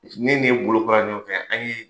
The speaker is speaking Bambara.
Ne n'e bolo bɔra ɲɔgɔn fɛ, an ye